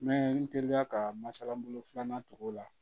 N bɛ n teliya ka masalabolo filanan tugu o la